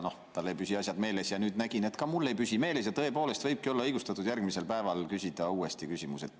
Tal ei püsi asjad meeles ja nüüd nägin, et ka mul ei püsi kõik meeles ja tõepoolest võibki olla õigustatud järgmisel päeval küsida uuesti sama küsimus.